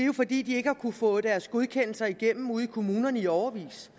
jo fordi de ikke har kunnet få deres godkendelser igennem ude i kommunerne i årevis